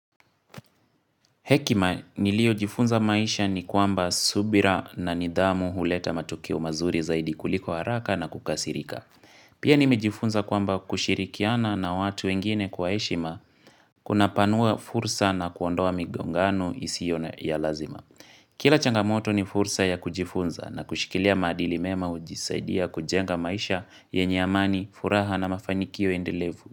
Hekima niliojifunza maisha ni kwamba subira na nidhamu huleta matukio mazuri zaidi kuliko haraka na kukasirika. Pia nimejifunza kwamba kushirikiana na watu wengine kwa heshima kunapanua fursa na kuondoa migongano isiyo na ya lazima. Kila changamoto ni fursa ya kujifunza na kushikilia maadili mema kujisaidia kujenga maisha yenye amani furaha na mafanikio endelevu.